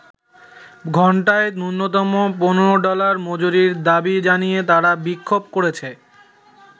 ঘন্টায় ন্যূনতম ১৫ ডলার মজুরির দাবি জানিয়ে তারা বিক্ষোভ করেছে।